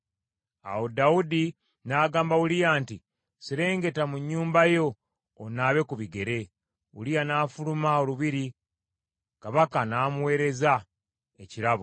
Awo Dawudi n’agamba Uliya nti, “Serengeta mu nnyumba yo, onaabe ku bigere.” Uliya n’afuluma olubiri, kabaka n’amuweereza ekirabo.